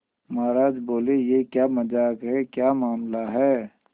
महाराज बोले यह क्या मजाक है क्या मामला है